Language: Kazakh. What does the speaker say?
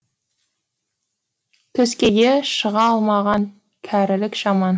төскейге шыға алмаған кәрілік жаман